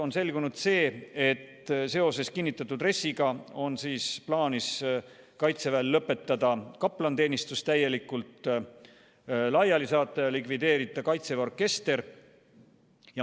On selgunud see, et seoses kinnitatud RES-iga on plaanis Kaitseväel lõpetada kaplaniteenistus ja likvideerida Kaitseväe orkester.